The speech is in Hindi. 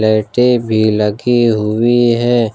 लाइटें भी लगी हुई हैं।